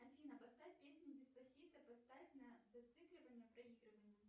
афина поставь песню деспосито поставь на зацикливание проигрывание